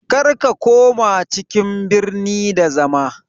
Kar ka koma cikin birni da zama